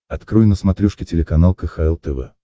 открой на смотрешке телеканал кхл тв